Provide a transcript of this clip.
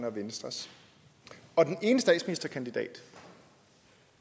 og venstres og den ene statsministerkandidat